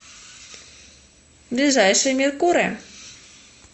ближайший меркурэ